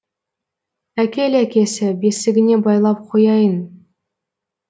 әкел әкесі бесігіне байлап қояйын